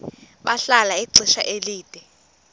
bahlala ixesha elide